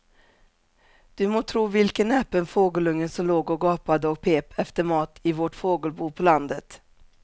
Du må tro vilken näpen fågelunge som låg och gapade och pep efter mat i vårt fågelbo på landet.